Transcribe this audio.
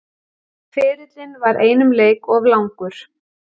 Ferillinn var einum leik of langur